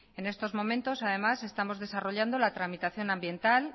en estos momentos además estamos desarrollando la tramitación ambiental